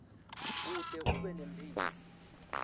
kute ube nemphilo